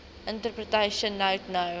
interpretation note no